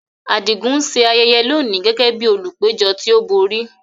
Adigun ń ṣe ayẹyẹ lónìí gẹ́gẹ́ bí olùpẹ̀jọ́ tí ó borí.